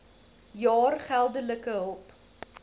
jaar geldelike hulp